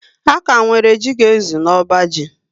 A kà nwere jị ga ezu n'ọbá ji